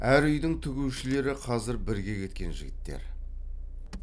әр үйдің тігушілері қазір бірге кеткен жігіттер